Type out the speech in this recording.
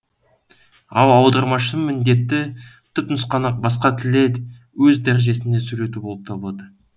ал аудармашының міндеті түпнұсқаны басқа тілде өз дәрежесінде сөйлету болып табылады